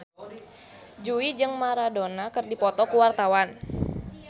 Jui jeung Maradona keur dipoto ku wartawan